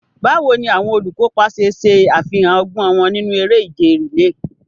Báwo ni àwọn olùkópa ṣe ṣe àfihàn ọgbọ́n wọn nínú eré ìje rìléè?